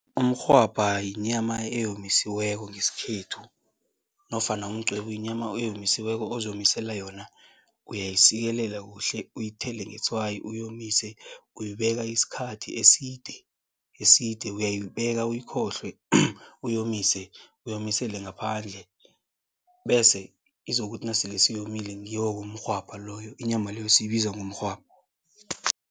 Umrhwabha yinyama eyomisiweko ngesikhethu nofana umqwebu yinyama eyomisiweko, ozomisele yona. Uyayisikelela kuhle, uyithele ngetswayi, uyomise. Uyibeka isikhathi eside eside, uyayibeka uyikhohlwe, uyomise, uyomisele ngaphandle bese izokuthi nasele seyomile ngiyo-ke umrhwabha loyo, inyama leyo siyibiza ngomrhwabha.